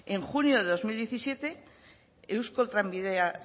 en junio de dos mil diecisiete eusko trenbide